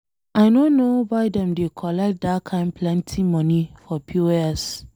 I no know why dem dey collect dat kin plenty money for POS.